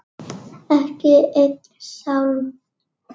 Ekki einn sálm.